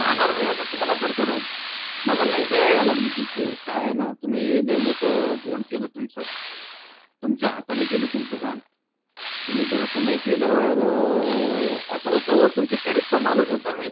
राहणार अस तुम्हाला करतो राव मला लई दया यायलागली बर का तुमची. काय ये ना तुम्ही लई मोठ धोळ केल तुमच तुमच्या हातानी केल तुमच घाण. तुम्ही भरोसा नाय केल्या वर अस होत ओ तुमच्या चा माणूस होतो ओ मी